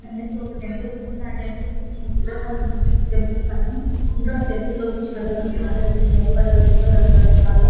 అక్కడ ఒక టెంపుల్ ఉంది. ఆ టెంపుల్ కి మూడు విగ్రహాలు ఉన్నాయి. టెంపుల్ పైన ఇంకా టెంపుల్ లోకి చాలామంది జనాలు వెళ్తున్నారు వాళ్ళ చేతిలో రకరకాల --